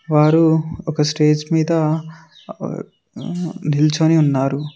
వారు ఒక స్టేజ్ మీద నిల్చొని ఉన్నారు.